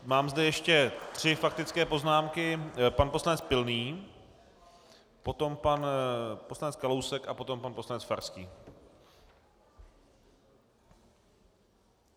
Mám zde ještě tři faktické poznámky - pan poslanec Pilný, potom pan poslanec Kalousek a potom pan poslanec Farský.